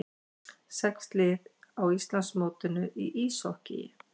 Sex lið á Íslandsmótinu í íshokkíi